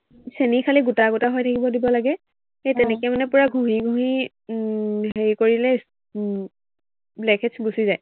চেনি খালি গোটা গোটা হৈ থাকিব দিব লাগে, সেই তেনেকে মানে পূৰা মিহি মিহি উম হেৰি কৰিলে উম blackheads গুচি যায়।